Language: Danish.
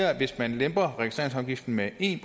at hvis man lemper registreringsafgiften med en